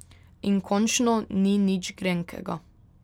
In končno ni nič grenkega.